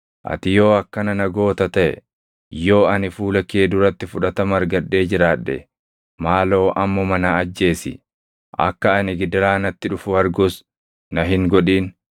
Ati yoo akkana na goota taʼe, yoo ani fuula kee duratti fudhatama argadhee jiraadhe, maaloo ammuma na ajjeesi; akka ani gidiraa natti dhufu argus na hin godhin.”